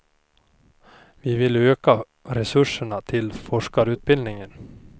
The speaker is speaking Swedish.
Vi vill öka resurserna till forskarutbildningen.